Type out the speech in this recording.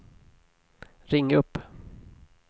ring upp